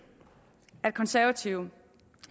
at konservative